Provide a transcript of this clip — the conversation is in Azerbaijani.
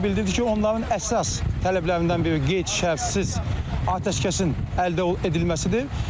O bildirdi ki, onların əsas tələblərindən biri qeyd-şərtsiz atəşkəsin əldə edilməsidir.